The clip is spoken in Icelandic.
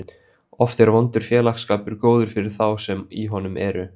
Oft er vondur félagsskapur góður fyrir þá sem í honum eru.